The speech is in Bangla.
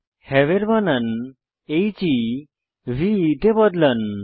হেভ এর বানান হেভে এ বদলান